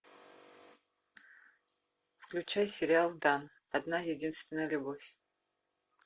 включай сериал дан одна единственная любовь